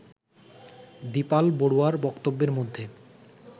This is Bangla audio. দীপাল বড়ুয়ার বক্তব্যের মধ্যে